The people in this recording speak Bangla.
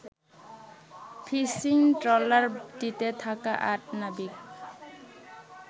ফিশিং ট্রলারটিতে থাকা আট নাবিক